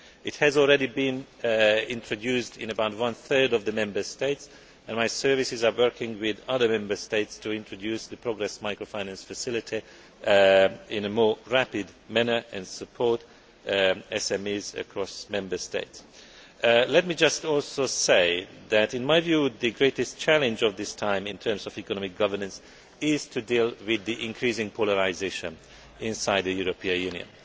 This has already been introduced in about one third of the Member States, and my services are working with other Member States to introduce the Progress Microfinance Facility in a more rapid manner and support SMEs across Member States. Let me also say that in my view the greatest challenge at this time in terms of economic governance is to deal with the increasing polarisation within the European